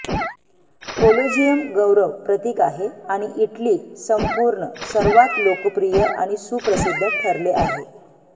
Colosseum गौरव प्रतीक आहे आणि इटली संपूर्ण सर्वात लोकप्रिय आणि सुप्रसिद्ध ठरले आहे